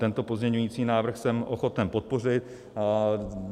Tento pozměňovací návrh jsem ochoten podpořit.